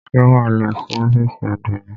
Ṣé wà á lọ sí ófìsì àdénì?